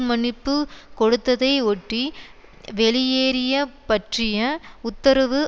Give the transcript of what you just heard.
மன்னிப்பு கொடுத்ததை ஒட்டி வெளியேறிய பற்றிய உத்தரவு